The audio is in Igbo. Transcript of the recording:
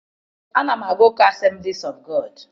Ana m aga ụka Assemblies of God.